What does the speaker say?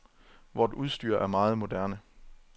Vort udstyr er meget moderne.